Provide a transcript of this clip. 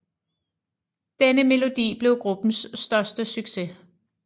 Denne melodi blev gruppens største succes